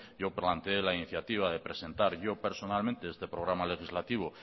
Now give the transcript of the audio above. yo plantee la iniciativa de presentar yo personalmente este programa legislativo